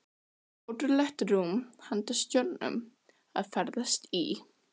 Ótrúlegt rúm handa stjörnum að ferðast í.